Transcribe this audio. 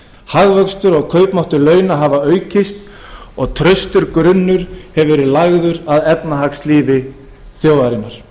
hagvöxtur og kaupmáttur launa hafa aukist og traustur grunnur hefur verið lagður að efnahagslífi þjóðarinnar